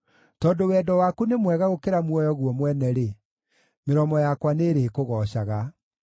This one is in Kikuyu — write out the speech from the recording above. Tondũ wendo waku nĩ mwega gũkĩra muoyo guo mwene-rĩ, mĩromo yakwa nĩĩrĩkũgoocaga.